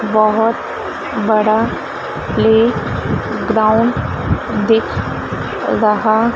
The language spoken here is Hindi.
बहोत बड़ा प्लेग्राउंड दिख रहा--